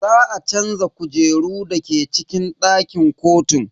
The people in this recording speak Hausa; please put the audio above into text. Za a canza kujeru dake cikin dakin kotun.